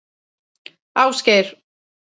Ásgeir